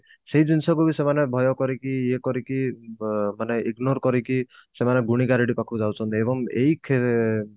ସେଇ ଜିନିଷ ଯଦି ସେମାନେ ଭୟ କରିକି ଇଏ କରିକି ବ ମାନେ ignore କରିକି ସେମାନେ ଗୁଣିଗାରେଡି ପାଖକୁ ଯାଉଛନ୍ତି ଏବଂ ଏଇ କ୍ଷ